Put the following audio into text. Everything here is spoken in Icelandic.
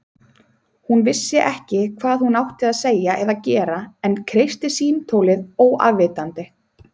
Hún vissi ekki hvað hún átti að segja eða gera en kreisti símtólið óafvitandi.